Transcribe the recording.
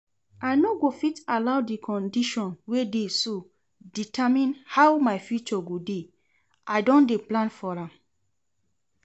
I no fit allow the condition we dey so determine how my future go dey, I don dey plan for am